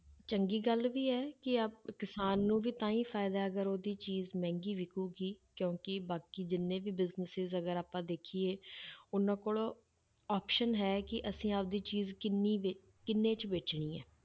ਚੰਗੀ ਗੱਲ ਵੀ ਹੈ ਕਿ ਆਹ ਕਿਸਾਨ ਨੂੰ ਵੀ ਤਾਂ ਹੀ ਫ਼ਾਇਦਾ ਹੈ ਅਗਰ ਉਹਦੀ ਚੀਜ਼ ਮਹਿੰਗੀ ਵਿੱਕੇਗੀ ਕਿਉਂਕਿ ਬਾਕੀ ਜਿੰਨੇ ਵੀ businesses ਅਗਰ ਆਪਾਂ ਦੇਖੀਏ ਉਹਨਾਂ ਕੋਲ option ਹੈ ਕਿ ਅਸੀਂ ਆਪਦੀ ਚੀਜ਼ ਕਿੰਨੀ ਵੇ~ ਕਿੰਨੇ 'ਚ ਵੇਚਣੀ ਹੈ।